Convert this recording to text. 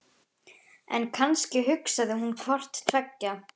En kannski hugsaði hún hvort tveggja.